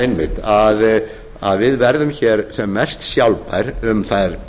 einmitt að við verðum hér sem mest sjálfbær um þær